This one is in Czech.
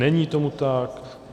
Není tomu tak.